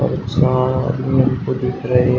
ये चार आदमी हमको दिख रहे--